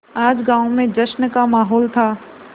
आज गाँव में जश्न का माहौल था